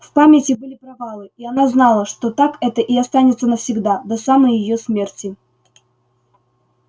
в памяти были провалы и она знала что так это и останется навсегда до самой её смерти